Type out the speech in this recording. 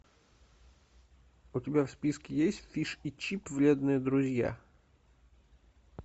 у тебя в списке есть фиш и чип вредные друзья